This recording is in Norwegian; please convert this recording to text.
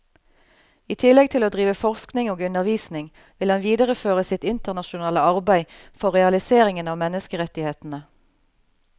I tillegg til å drive forskning og undervisning vil han videreføre sitt internasjonale arbeide for realiseringen av menneskerettighetene.